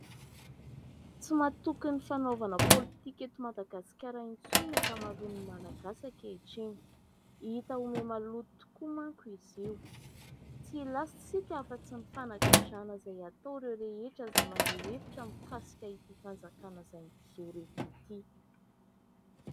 Tsy matoky ny fanaovana politika eto Madagasikara intsony ny ankamaroan' ny malagasy ankehitriny ; hita ho mihamaloto tokoa manko izy io tsy hilaza isika afatsy ny fanagadrana izay atao ireo rehetra izay maneho hevitra mikasika ity fanjakana izay mijoro eto ity.